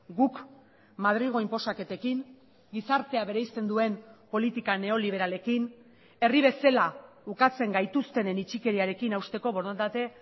guk madrilgo inposaketekin gizartea bereizten duen politika neoliberalekin herri bezala ukatzen gaituztenen itxikeriarekin hausteko borondate